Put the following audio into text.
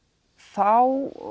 þá